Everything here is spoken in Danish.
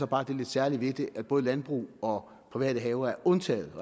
bare det lidt særlige ved det at både landbrug og private haver er undtaget